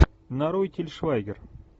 нарой тиль швайгер